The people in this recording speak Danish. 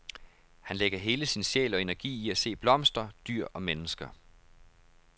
Han lægger hele sin sjæl og energi i at se blomster, dyr og mennesker.